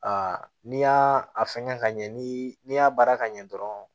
n'i y'a a fɛngɛ ka ɲɛ ni y'a baara ka ɲɛ dɔrɔn